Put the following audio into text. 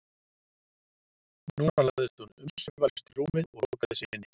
Núna lagðist hún umsvifalaust í rúmið og lokaði sig inni.